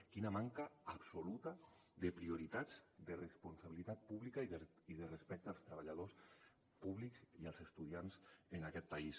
quina manca absoluta de prioritats de responsabilitat pública i de respecte als treballadors públics i als estudiants en aquest país